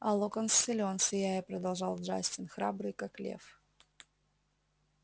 а локонс силен сияя продолжал джастин храбрый как лев